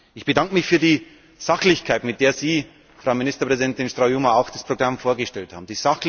Ich bedanke mich für die Sachlichkeit, mit der Sie, Frau Ministerpräsidentin Straujuma, auch das Programm vorgestellt haben.